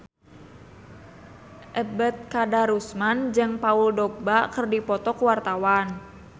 Ebet Kadarusman jeung Paul Dogba keur dipoto ku wartawan